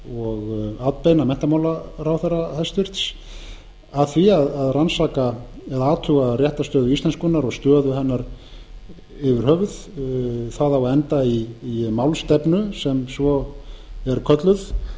og atbeina menntamálaráðherra hæstvirtur að því að rannsaka eða athuga réttarstöðu íslenskunnar og stöðu hennar yfir höfuð það á að enda í málstefnu sem svo er kölluð